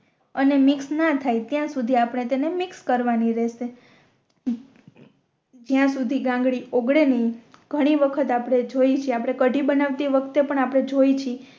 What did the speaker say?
અને મિક્સ ના થાય ત્યાં સુધી આપણે તેને મિક્સ કરવાની રેહશે હમ જ્યાં સુધી ગાંગરી ઉગલે નય ઘણી વખત આપણે જોઇ છે આપણે કઢી બનાવતી વખતે પણ આપણે જોઈ છે